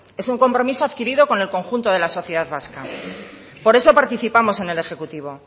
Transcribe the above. es un compromiso adquirido con en el conjunto de la sociedad vasca por eso participamos en el ejecutivo